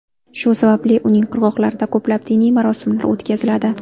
Shu sababli uning qirg‘oqlarida ko‘plab diniy marosimlar o‘tkaziladi.